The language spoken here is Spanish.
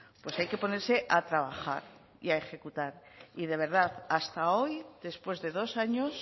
pues hay que ponerse a trabajar y a ejecutar y de verdad hasta hoy después de dos años